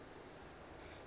ge a bona tšeo a